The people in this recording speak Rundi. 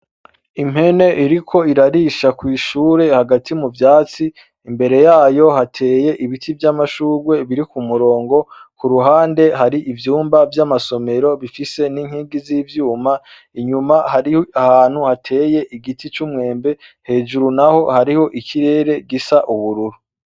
Impene iriko irarisha kw’ishure hagati muvyatsi, imbere yayo hateye ibiti vy’amashugwe biri kumurongo, kuruhande hari ivyumba vy’amasomero bifise n’inkingi z’ivyuma, inyuma hari hantu hateye igiti c’umwembe, hejuru naho hariho ikirere gisa ubururu.